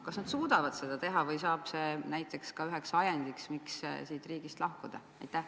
Kas nad suudavad seda teha või saab see näiteks üheks ajendiks, miks siit riigist lahkuda?